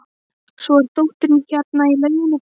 Svo er dóttirin hérna í lauginni.